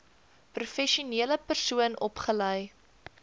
professionele persoon opgelei